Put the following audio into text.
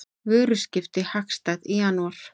Vöruskipti hagstæð í janúar